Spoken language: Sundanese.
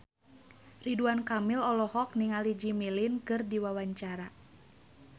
Ridwan Kamil olohok ningali Jimmy Lin keur diwawancara